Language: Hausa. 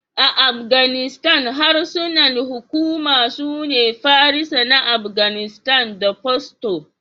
A Afganistan, harsunan hukuma sune Farisa na Afganistan (Dari) da Pashto.